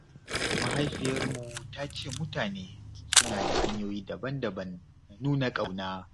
Mahaifiyarmu ta ce mutane suna da hanyoyi daban-daban na nuna ƙauna.